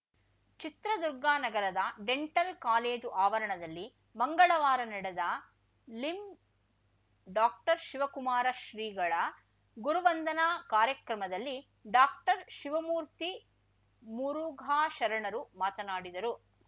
ಚಿತ್ರದುರ್ಗ ನಗರದ dental college ಆವರಣದಲ್ಲಿ ಮಂಗಳವಾರ ನಡೆದ ಲಿಂಡಾಕ್ಟರ್ಶಿವಕುಮಾರ ಶ್ರೀಗಳ ಗುರುವಂದನ ಕಾರ್ಯಕ್ರಮದಲ್ಲಿ ಡಾಕ್ಟರ್ಶಿವಮೂರ್ತಿ ಮುರುಘಾಶರಣರು ಮಾತನಾಡಿದರು